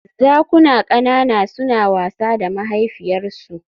Zakuna ƙanana suna wasa da mahaifiyarsu